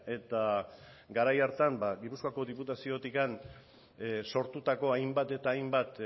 eta garai hartan gipuzkoako diputaziotik sortutako hainbat eta hainbat